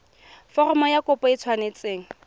foromo ya kopo e tshwanetse